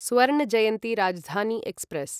स्वर्ण जयन्ति राजधानी एक्स्प्रेस्